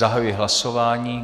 Zahajuji hlasování.